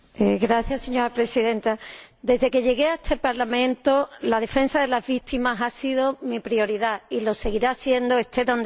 Señora Presidenta, desde que llegué a este Parlamento, la defensa de las víctimas ha sido mi prioridad y lo seguirá siendo esté donde esté.